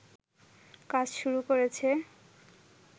কাজ শুরু করেছে